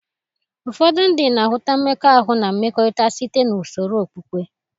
Ụfọdụ ndị na-ahụta mmekọahụ na mmekọrịta site na usoro okpukpe.